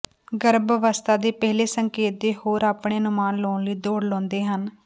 ਗਰਭ ਅਵਸਥਾ ਦੇ ਪਹਿਲੇ ਸੰਕੇਤ ਦੇ ਹੋਰ ਆਪਣੇ ਅਨੁਮਾਨ ਲਾਉਣ ਲਈ ਦੌੜ ਲਾਉਂਦੇ ਹਨ